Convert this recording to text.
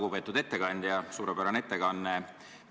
Lugupeetud ettekandja, suurepärane ettekanne!